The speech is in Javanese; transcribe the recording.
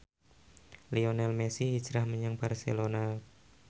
Lionel Messi hijrah menyang Barcelona